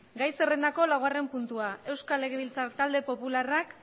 gai zerrendako laugarren puntua euskal legebiltzar talde popularrak